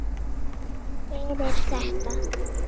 Fyrir þetta.